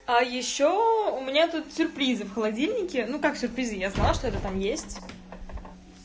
а ещё у меня тут сюрпризы в холодильнике ну как сюрпризы я знала что это там есть